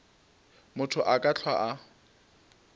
motho a ka hlwa a